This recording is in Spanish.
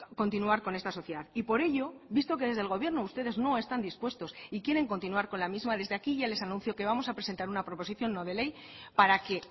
continuar con esta sociedad y por ello visto que desde el gobierno ustedes no están dispuestos y quieren continuar con la misma desde aquí ya les anuncio que vamos a presentar una proposición no de ley para que